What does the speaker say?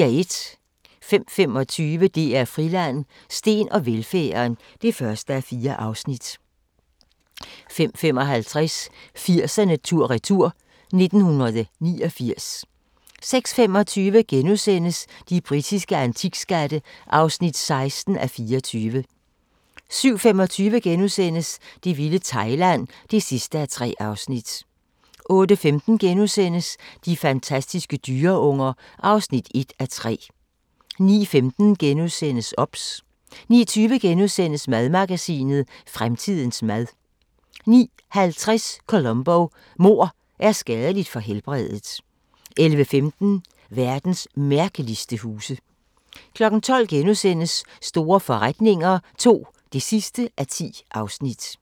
05:25: DR Friland: Steen og velfærden (1:4) 05:55: 80'erne tur-retur: 1989 06:25: De britiske antikskatte (16:24)* 07:25: Det vilde Thailand (3:3)* 08:15: De fantastiske dyreunger (1:3)* 09:15: OBS * 09:20: Madmagasinet: Fremtidens mad * 09:50: Columbo: Mord er skadeligt for helbredet 11:15: Verdens mærkeligste huse 12:00: Store forretninger II (10:10)*